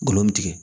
Ngolo bi tigɛ